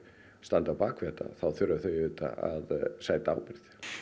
standa á bak við þetta þá þurfa þau auðvitað að sæta ábyrgð